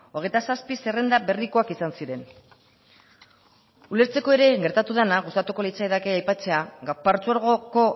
hogeita zazpi zerrenda berrikoak izan ziren ulertzeko ere gertatu dena gustatuko litzaidake aipatzea partzuergoko